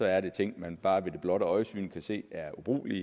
er ting man bare ved det blotte øjesyn kan se er ubrugelige